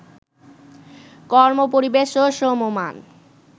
কর্মপরিবেশ ও শ্রমমান